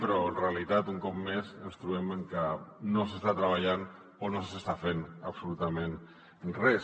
però en realitat un cop més ens trobem amb que no s’està treballant o no s’està fent absolutament res